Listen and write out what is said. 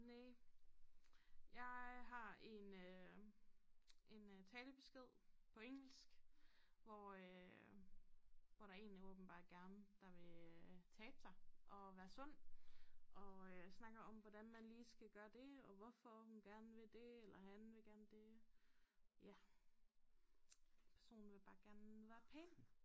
Næ jeg har en øh en øh talebesked på engelsk hvor øh hvor der en der åbenbart gerne der vil øh tabe sig og være sund og øh snakker om hvordan man lige skal gøre det og hvorfor hun gerne vil det eller han vil gerne det ja personen vil bare gerne være pæn